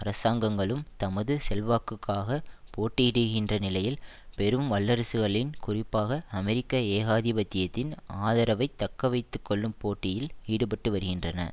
அரசாங்கங்களும் தமது செல்வாக்குக்காக போட்டியிடுகின்ற நிலையில் பெரும் வல்லரசுகளின் குறிப்பாக அமெரிக்க ஏகாதிபத்தியத்தின் ஆதரவை தக்கவைத்து கொள்ளும் போட்டியில் ஈடுபட்டுவருகின்றன